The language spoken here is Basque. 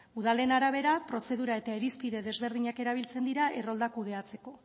udalen arabera prozedura eta irizpide desberdinak erabiltzen dira errolda kudeatzeko